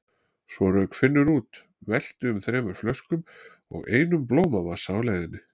Svo rauk Finnur út, velti um þremur flöskum og einum blómavasa á leiðinni.